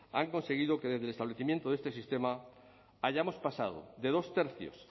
han conseguido que desde el establecimiento de este sistema hayamos pasado de dos tercios